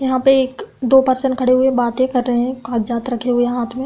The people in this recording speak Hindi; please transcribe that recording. यहां पर एक-दो पर्सन खड़े हुए बातें कर रहे हैं कागजात रखे हुए हाँथ में।